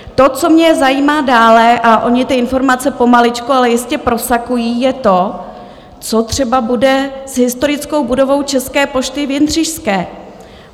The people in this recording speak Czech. To, co mě zajímá dále, a ony ty informace pomaličku ale jistě prosakují, je to, co třeba bude s historickou budovou České pošty v Jindřišské?